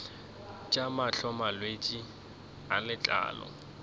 tša mahlo malwetse a letlalo